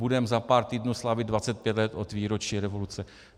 Budeme za pár týdnů slavit 25 let od výročí revoluce.